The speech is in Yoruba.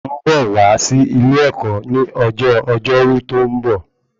Mo ń bọ̀ wá sí ilé ẹ̀kọ́ ní ọjọ́ ọjọ́rú tó ń bọ̀